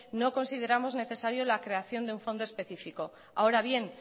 no consideramos necesario la creación de un fondo específico ahora bien